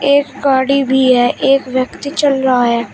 एक गाड़ी भी है एक व्यक्ति चल रहा है।